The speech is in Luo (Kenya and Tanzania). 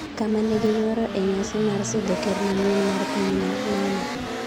kama ne giyuoro e nyasi mar sidho ker manyien mar pinyno, Nana